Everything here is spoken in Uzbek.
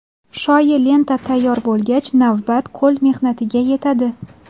Shoyi lenta tayyor bo‘lgach, navbat qo‘l mehnatiga yetadi.